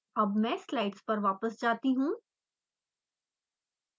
अब मैं स्लाइड्स पर वापस जाती हूँ